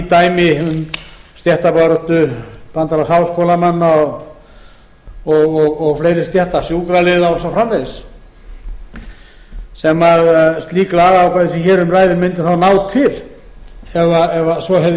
dæmi um stéttabaráttu bandalags háskólamanna og fleiri stétta sjúkraliða og svo framvegis sem slík lagaákvæði sem hér um ræðir mundu þá ná til ef svo hefði